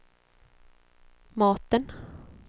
maten